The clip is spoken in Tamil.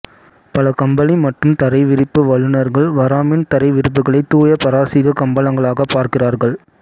பல கம்பளி மற்றும் தரைவிரிப்பு வல்லுநர்கள் வராமின் தரை விரிப்புகளை தூய பாரசீக கம்பளங்களாகப் பார்க்கிறார்கள்